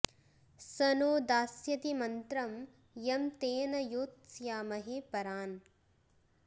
स नो दास्यति मन्त्रं यं तेन योत्स्यामहे परान्